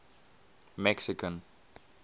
mexican